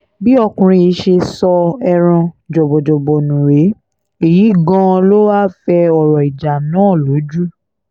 bí ọkùnrin yìí ṣe so ẹran jọ̀bọ̀jọ̀bọ̀ nù rèé èyí gan-an ló wáá fẹ́ ọ̀rọ̀ ìjà náà lójú